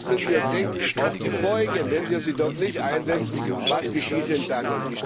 Das müssen wir bedenken, und auch die Folgen Wenn wir sie dort nicht einsetzen was geschieht denn